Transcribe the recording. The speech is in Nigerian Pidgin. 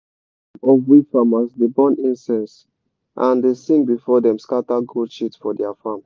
some of we farmers dey burn incense and dey sing before dem scatter goat shit for dia farm.